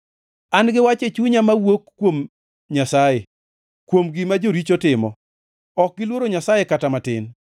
An-gi wach e chunya mowuok kuom Nyasaye, kuom gima joricho timo: Ok giluoro Nyasaye kata matin.